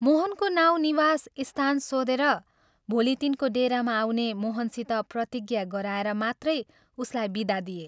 मोहनको नाउँ निवास स्थान सोधेर भोलि तिनको डेरामा आउने मोहनसित प्रतिज्ञा गराएर मात्रै उसलाई विदा दिए।